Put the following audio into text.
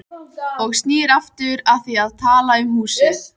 Og snýr aftur að því að tala um húsið.